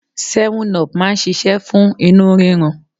Seven-up máa ń ṣíṣe fún inú rírun.